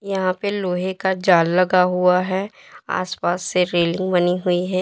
यहां पे लोहे का जाल लगा हुआ है आसपास से रेलिंग बनी हुई है।